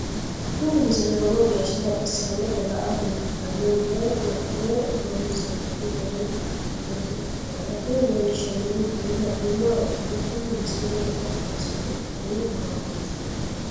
tini misile lowo geeshsha baxissannote la"ate injiitanno woy la'ne ronsannire lowote afidhinota ikkitanna tini leellishshannonkeri la'nummoha ikkiro tini misile lekkate kaase godo'litanno gaamootinn